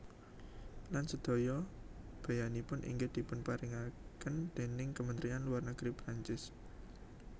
Lan sedaya beyanipun inggih dipunparingaken déning Kamentrian Luar Negeri Prancis